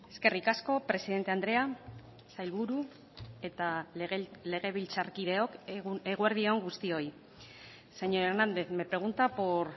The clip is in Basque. eskerrik asko presidente andrea sailburu eta legebiltzarkideok eguerdi on guztioi señor hernández me pregunta por